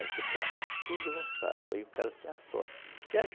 A gente planta tudo roçado, aí o cara tem a sorte